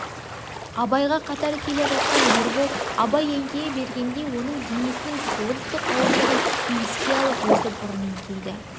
абайға қатар келе жатқан ербол абай еңкейе бергенде оның денесінің толықтық ауырлығын еске алып өзі бұрын еңкейді